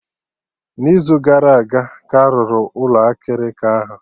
N'izu gara aga ka a rụrụ Ụlọ akịrịka ahụ